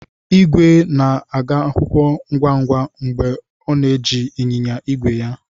Igwe na-aga akwụkwọ ngwa ngwa mgbe ọ na-eji ịnyịnya ígwè ya.